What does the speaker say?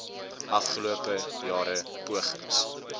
afgelope jare pogings